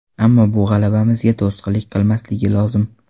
Ammo bu g‘alabamizga to‘sqinlik qilmasligi lozim.